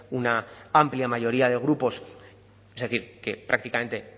una amplia mayoría de grupos es decir que prácticamente